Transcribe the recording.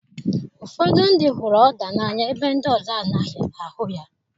Ụfọdụ ndị hụrụ Oda n'anya ebe ndị ọzọ anaghị ahụ ya.